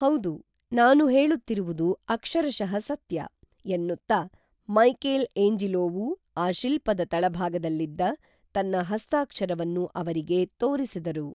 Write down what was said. ಹೌದು ನಾನು ಹೇಳುತ್ತಿರುವುದು ಅಕ್ಷರಶಃ ಸತ್ಯ, ಎನ್ನುತ್ತಾ ಮೈಕೇಲ್ಏಂಜಿಲೋವು ಆ ಶಿಲ್ಪದ ತಳಭಾಗದಲ್ಲಿದ್ದ ತನ್ನ ಹಸ್ತಾಕ್ಷರವನ್ನು ಅವರಿಗೆ ತೋರಿಸಿದರು